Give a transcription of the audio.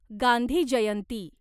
Gandhi Jayanti